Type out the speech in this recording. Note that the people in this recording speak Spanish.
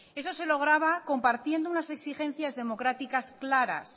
eso se lograba compartiendo unas exigencias democráticas claras